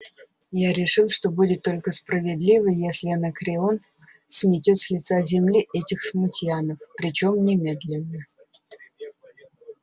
я решил что будет только справедливо если анакреон сметёт с лица земли этих смутьянов причём немедленно